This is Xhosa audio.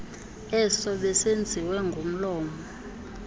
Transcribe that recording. eso besenziwe ngomlomo